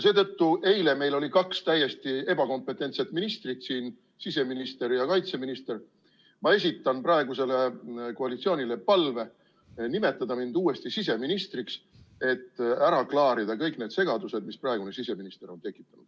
Seetõttu, et eile meil oli kaks täiesti ebakompetentset ministrit siin, siseminister ja kaitseminister, ma esitan praegusele koalitsioonile palve: nimetada mind uuesti siseministriks, et ära klaarida kõik need segadused, mis praegune siseminister on tekitanud.